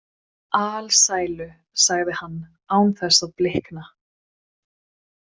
Alsælu, sagði hann án þess að blikna.